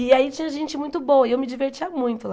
E aí tinha gente muito boa e eu me divertia muito lá.